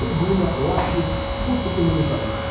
трибуна лавки будка киномеханика